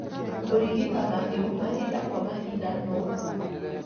Kũrigita mahiũ mahinda kwa mahinda no